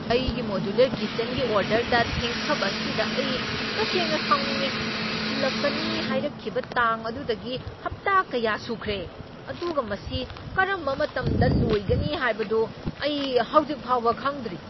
ꯑꯩꯒꯤ ꯃꯣꯗ꯭ꯌꯨꯂꯔ ꯀꯤꯆꯟꯒꯤ ꯑꯣꯔꯗꯔꯗ ꯊꯦꯡꯊꯕ ꯑꯁꯤꯗ ꯑꯩ ꯇꯁꯦꯡꯅ ꯁꯥꯎꯅꯤꯡꯢ꯫ ꯊꯤꯜꯂꯛꯀꯅꯤ ꯍꯥꯏꯔꯛꯈꯤꯕ ꯇꯥꯡ ꯑꯗꯨꯗꯒꯤ ꯍꯞꯇꯥ ꯀꯌꯥ ꯁꯨꯈ꯭ꯔꯦ, ꯑꯗꯨꯒ ꯃꯁꯤ ꯀꯔꯝꯕ ꯃꯇꯝꯗ ꯂꯣꯏꯒꯅꯤ ꯍꯥꯏꯕꯗꯨ ꯑꯩ ꯍꯧꯖꯤꯛ ꯐꯥꯎꯕ ꯈꯪꯗ꯭ꯔꯤ꯫